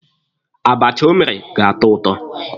Abacha o mere ga-atọ ụtọ.